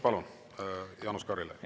Palun, Jaanus Karilaid!